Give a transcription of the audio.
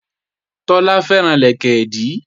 Tọ́lá fẹ́ràn lẹ̀kẹ̀dí